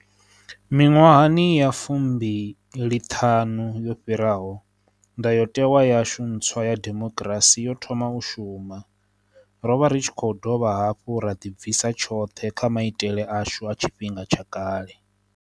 Miṅwahani ya fumbi liṱhanu yo fhiraho, Ndayotewa yashu ntswa ya demokirasi yo thoma u shuma. Ro vha ri tshi khou dovha hafhu ra ḓibvisa tshoṱhe kha maitele ashu a tshifhinga tsha kale.